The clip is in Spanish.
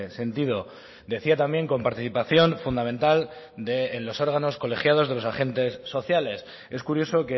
sentido decía también con participación fundamental de los órganos colegiados de los agentes sociales es curioso